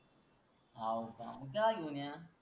हव का मंग त्याल घेऊन या.